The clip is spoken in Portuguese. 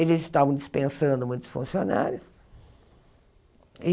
Eles estavam dispensando muitos funcionários.